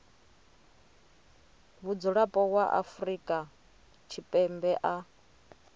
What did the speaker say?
mudzulapo wa afrika tshipembe a